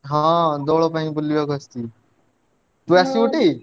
ହଁ ଦୋଳ ପାଇଁ ବୁଲିବାକୁ ଆସିଥିଲି ତୁ ଆସିବୁ ଟି?